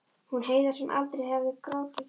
Hún Heiða sem aldrei hafði grátið.